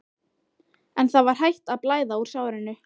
En það var hætt að blæða úr sárinu.